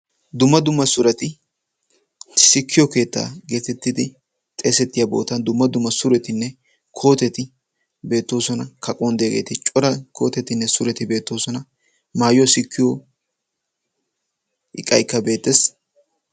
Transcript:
dumma dumma sureti sikkiyo keettaa geetettidi xeesettiyaa bootan dumma dumma suretinne kooteti beettoosona kaquwan diyageeti cora kootetinne sureti beettoosona maayuwa sikkiyo iqaykka beettes